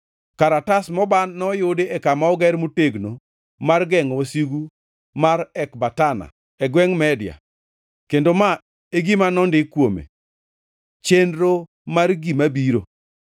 Karatas moban noyudi e kama oger motegno mar gengʼo wasigu mar Ekbatana e gwengʼ Media, kendo ma e gima nondik kuome: Chenro mar gima biro: